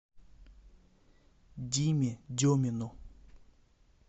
диме демину